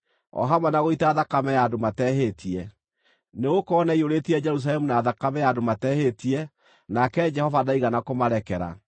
o hamwe na gũita thakame ya andũ matehĩtie. Nĩgũkorwo nĩaiyũrĩtie Jerusalemu na thakame ya andũ matehĩtie, nake Jehova ndaigana kũmarekera.